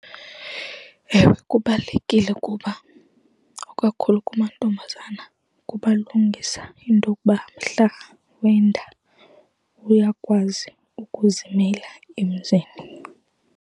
Ewe, kubalulekile kuba, ikakhulu kumantombazana, kubalungisa intokuba mhla wenda uyakwazi ukuzimela emzini.